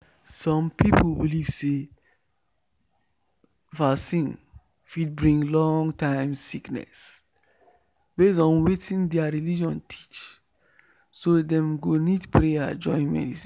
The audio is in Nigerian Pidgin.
some people believe say vaccine fit bring long-term sickness based on wetin their religion teach so dem go need prayer join medicine.